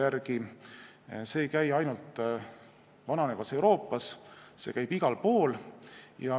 See jaht ei käi ainult vananevas Euroopas, see käib igal pool.